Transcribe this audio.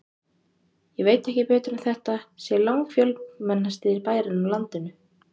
Ég veit ekki betur en þetta sé langfjölmennasti bærinn á landinu.